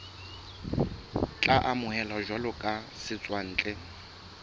tla amohelwa jwalo ka setswantle